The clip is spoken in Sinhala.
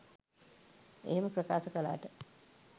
එහෙම ප්‍රකාශ කළාට